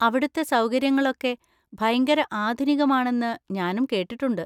അവിടുത്തെ സൗകര്യങ്ങളൊക്കെ ഭയങ്കര ആധുനികമാണെന്ന് ഞാനും കേട്ടിട്ടുണ്ട്.